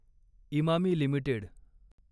Emami limited